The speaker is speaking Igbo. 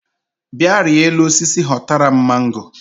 Bịa rịa elu osisi họtara m mango